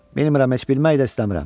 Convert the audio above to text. Bilmirəm heç bilmək də istəmirəm.